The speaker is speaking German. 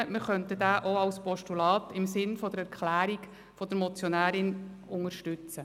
Wir könnten diesen auch als Postulat im Sinne der Erklärung der Motionärin unterstützen.